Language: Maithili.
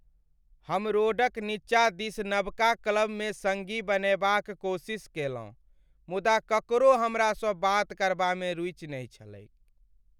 हम रोड क नीचा दिस नबका क्लब में सङ्गी बनएबाक कोशिश केलहुँ मुदा ककरो हमरासँ बात करबामे रूचि नहि छलैक ।